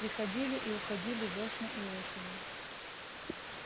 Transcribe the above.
приходили и уходили вёсны и осени